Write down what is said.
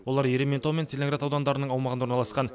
олар ерейментау мен целиноград аудандарының аумағында орналасқан